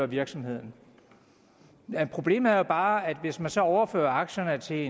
virksomheden problemet er jo bare at hvis man så overfører aktierne til